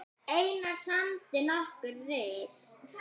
Einar samdi nokkur rit